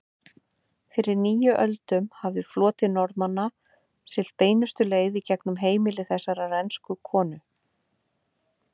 Fyrir níu öldum hafði floti Normanna siglt beinustu leið gegnum heimili þessarar ensku konu.